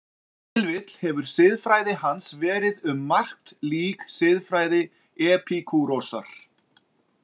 Ef til vill hefur siðfræði hans verið um margt lík siðfræði Epikúrosar.